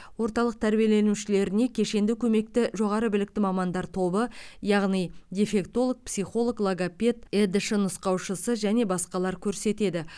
орталық тәрбиеленушілеріне кешенді көмекті жоғары білікті мамандар тобы яғни дефектолог психолог логопед едш нұсқаушысы және басқалар көрсетеді